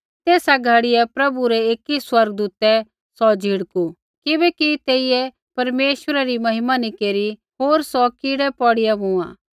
तेसा घड़ियै प्रभु रै एकी स्वर्गदूतै सौ झिड़कु किबैकि तेइयै परमेश्वरै री महिमा नी केरी होर सौ कीड़ै पौड़िआ मूँआ